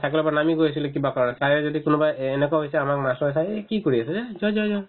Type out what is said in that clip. cycle ৰ পৰা নামি গৈছিলো কিবা কাৰণত sir য়ে যদি কোনোবা এ~ এনেকুৱাও হৈছে আমাক মাষ্টৰ sir ৰে কি কৰিছা যা যোৱা যোৱা যোৱা